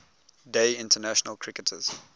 day international cricketers